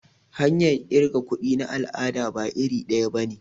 Hanyar kirga kuɗi na al'ada ba iri daya bane.